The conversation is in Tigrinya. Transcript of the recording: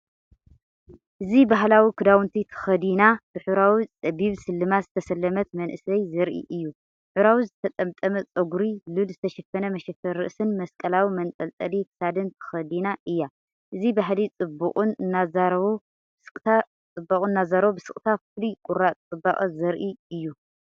እዚ ባህላዊ ክዳውንቲ ተኸዲና፡ ብሕብራዊ ጸቢብ ስልማት ዝተሰለመት መንእሰይ ዘርኢ እዩ። ሕብራዊ ዝተጠምጠመ ጸጉሪ፡ ሉል ዝተሸፈነ መሸፈኒ ርእሲን መስቀላዊ መንጠልጠሊ ክሳድን ተኸዲና እያ። እዚ ባህሊ ጽባቐኡ እናዛረቡ ብስቅታ ፍሉይ ቁራጽ ጽባቐ ዘርኢ እዩ።